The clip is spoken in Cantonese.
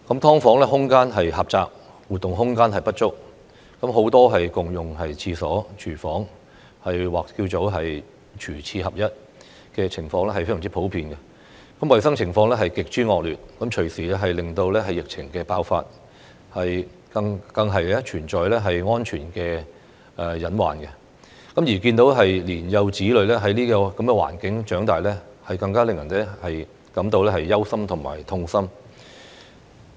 "劏房"空間狹窄，活動空間不足，很多也要共用廁所、廚房，"廚廁合一"的情況非常普遍，衞生情況極之惡劣，隨時令疫症爆發，更存在安全隱患；而看到年幼子女在這種環境下長大，更令人感到憂心和痛心。